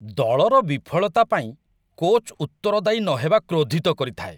ଦଳର ବିଫଳତା ପାଇଁ କୋଚ୍‌ ଉତ୍ତରଦାୟୀ ନହେବା କ୍ରୋଧିତ କରିଥାଏ।